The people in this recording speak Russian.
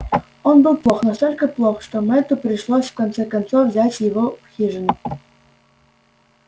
он был плох настолько плох что мэтту пришлось в конце концов взять его в хижину